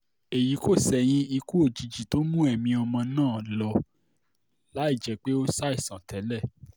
èyí kò ṣẹ̀yìn ikú òjijì tó mú ẹ̀mí ọmọ náà lọ láì jẹ́ pé ó ṣàìsàn tẹ́lẹ̀